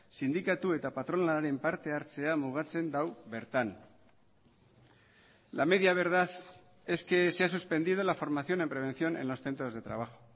sindikatu eta patronalaren parte hartzea mugatzen du bertan la media verdad es que se ha suspendido la formación en prevención en los centros de trabajo